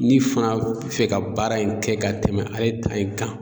Ni fana bɛ fɛ ka baara in kɛ ka tɛmɛ ale ta in kan.